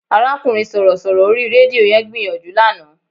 Arákùnrin Sọ̀rọ̀ṣọ̀rọ̀ orí rédíò yẹn gbìyànjú lánàá